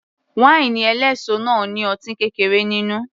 Wáínì eléso náà ní ọtí kékeré nínú